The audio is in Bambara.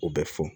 U bɛ fɔ